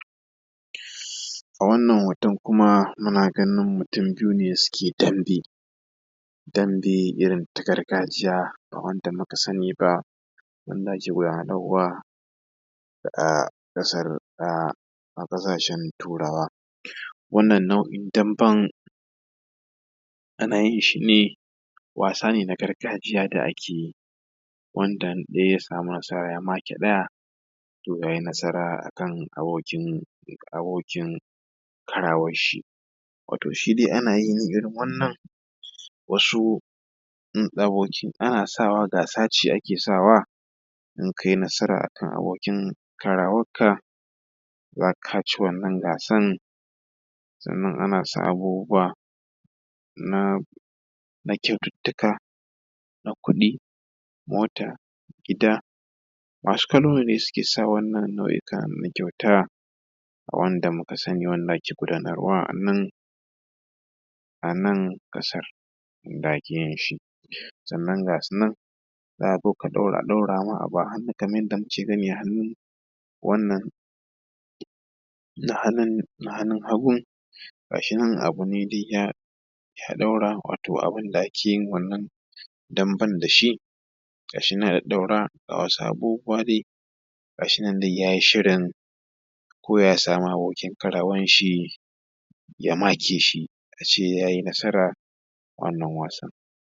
A wannan hoton kuma muna ganin mutum biyu ne suke yin dambe, dambe irin ta gargajiya ba wanda muka sani ba, wanda ake guda:narwa a ƙasar a ƙasashen turawa. Wannan nau’in damben ana yin shi ne, wasa ne na gargajiya da ake yi wanda idan ɗaya ya sami nasara ya make ɗaya to ya yi nasara a kan aboki abokin karawar shi. Wato shi dai ana yin irin wannan wasu in abokin, ana sawa gasa ce ake sawa in kai nasara a kan abokin karawak ka za ka, ka ci wannan gasan. Sannan ana sa abubuwa na kyaututtuka na kuɗi, mota:, gida. Masu kallo ne suke sa wannan nau’ika na kyauta wanda muka sani wanda ake gudanarwa a nan, a nan ƙasar inda ake yin shi. Sannan gasu nan za ka zo a ɗaura ma abu a hannu kamar yadda muke gani a hannu, wannan na hannun na hannun hagun ga shi nan abu ne duk ya ɗaura, wato abun da ake yin wannan damben da shi. ga shi yana ɗaɗɗaurawa wasu abubuwa ne dai, ga shi nan dai ya yi shirin ko ya sami abokin karawar shi ga shi yana ɗaɗɗaurawa wasu abubuwa ne dai, ga shi nan dai ya yi shirin ko ya sami abokin karawar shi